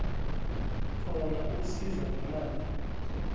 khona ukusizwa ngemali